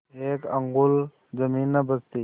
एक अंगुल जमीन न बचती